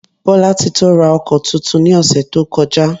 Bolatito ra oko túntún ní osé to kojá.